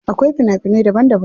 Akwai fina finai daban daban.